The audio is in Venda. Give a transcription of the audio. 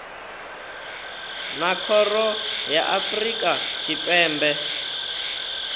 na khoro ya afrika tshipembe